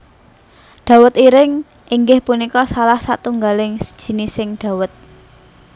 Dawet Ireng inggih punika salah satunggaling jinising dawet